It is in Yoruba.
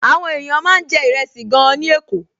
Àwọn èèyàn máa ń jẹ ìrẹsì gan-an ní Èkó